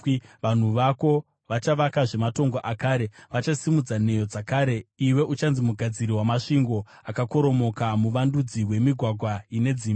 Vanhu vako vachavakazve matongo akare vachasimudza nheyo dzakare; iwe uchanzi Mugadziri waMasvingo Akakoromoka, Muvandudzi weMigwagwa ine Dzimba.